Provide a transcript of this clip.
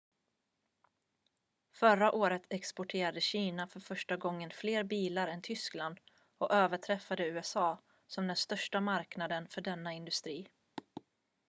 förra året exporterade kina för första gången fler bilar än tyskland och överträffade usa som den största marknaden för denna industri